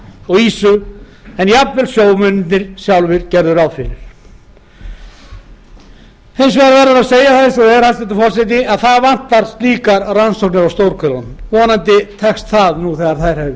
og ýsu en jafnvel sjómennirnir sjálfir gerðu ráð fyrir hins vegar verður að segja eins og er hæstvirtur forseti að það vantar slíkar rannsóknir á stórhvelunum vonandi tekst það nú